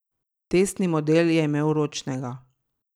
Testni model je imel ročnega.